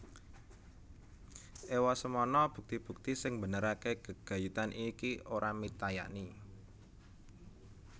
Ewosemono bukti bukti sing mbenerake gegayutan ini ora mitayani